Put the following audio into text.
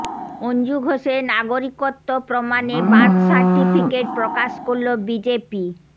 অঞ্জু ঘোষের নাগরিকত্ব প্রমাণে বার্থ সার্টিফিকেট প্রকাশ করল বিজেপি